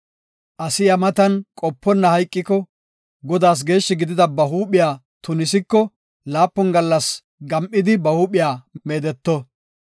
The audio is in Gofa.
“Asi iya matan qoponna hayqiko, Godaas geeshshi gidida ba huuphiya tunisiko laapun gallas gam7idi ba huuphiya meedeto.